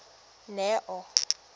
neo